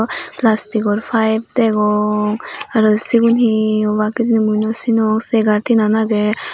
plastigor pipe degong aro sigun he obaak hijeni mui nw sinong chegar tinen agey.